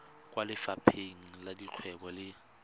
kwa lefapheng la dikgwebo le